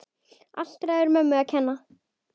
Allt ræðu mömmu að kenna!